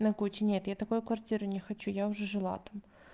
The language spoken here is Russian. на куче нет я такую квартиру не хочу я уже жила там